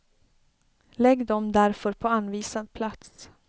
Lägg dem därför på anvisad plats.